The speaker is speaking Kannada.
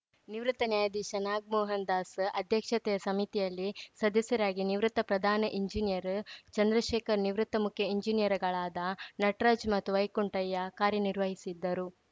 ನಿವೃತ್ತ ನ್ಯಾಯಾಧೀಶ ನಾಗಮೋಹನ್‌ ದಾಸ್‌ ಅಧ್ಯಕ್ಷತೆಯ ಸಮಿತಿಯಲ್ಲಿ ಸದಸ್ಯರಾಗಿ ನಿವೃತ್ತ ಪ್ರಧಾನ ಎಂಜಿನಿಯರ್‌ ಚಂದ್ರಶೇಖರ್‌ ನಿವೃತ್ತ ಮುಖ್ಯ ಎಂಜಿನಿಯರ್‌ಗಳಾದ ನಟರಾಜ್‌ ಮತ್ತು ವೈಕುಂಠಯ್ಯ ಕಾರ್ಯನಿರ್ವಹಿಸಿದ್ದರು